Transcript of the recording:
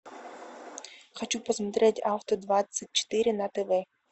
хочу посмотреть авто двадцать четыре на тв